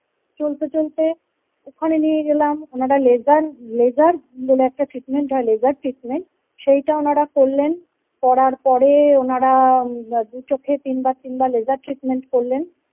চলতে চলতে ওখানে নিয়ে গেলাম ওনারা labor labour বলে একটা treatment হয় labor labour সেইটা ওনারা করলেন করার পরে ওনারা দু চোখে তিনবার তিনবার labor labour করলেন ।